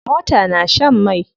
Mota na shan mai.